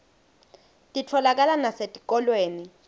titfolakala nasetikolweni